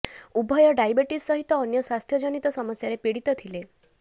ଉଭୟ ଡାଇବେଟିସ୍ ସହିତ ଅନ୍ୟ ସ୍ୱାସ୍ଥ୍ୟ ଜନିତ ସମସ୍ୟାରେ ପୀଡ଼ିତ ଥିଲେ